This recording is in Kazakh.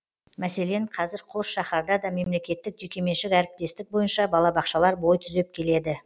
мәселен қазір қос шаһарда да мемлекеттік жекеменшік әріптестік бойынша балабақшалар бой түзеп келеді